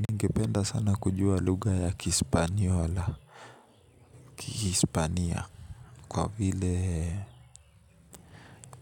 Ningependa sana kujua lugha ya kispaniola Kihispania kwa vile